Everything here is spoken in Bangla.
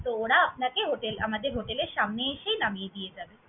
তো ওরা আপনাকে hotel আমাদের hotel এর সামনে এসেই নামিয়ে দিয়ে যাবে।